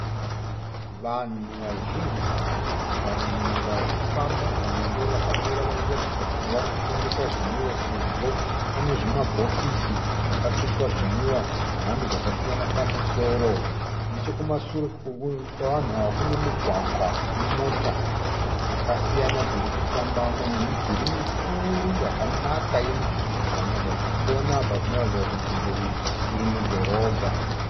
Vanhu vazhinji vamwe vari kufamba vamwe ndivo vakamira vari kuratidza kuti vari kutengesa zvinwiwa sezvo pane zvimabhokisi zvakatsvetwa zvinwiwa zvemhando dzakasiyana pamusoro. Nechekumasure kwevanhu ava kune mugwagwa une mota dzakasiyana dziri kufambamo nemidhuri mikuru yakanaka yemiturikidzanwa. Zvatiri kuona apa zvinoratidza kuti nzvimbo iyi iri mudhorobha.